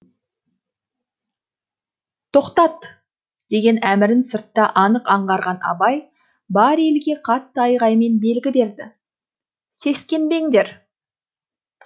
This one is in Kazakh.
тоқтат деген әмірін сыртта анық аңғарған абай бар елге қатты айғаймен белгі берді сескенбеңдер